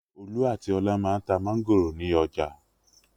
Olú àti Ọlá máa ń ta mángòrò ní ọjà.